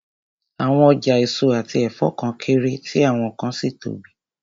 Àwọn ọjà èso àti ẹ̀fọ́ kan kéré, tí àwọn kan sì tóbi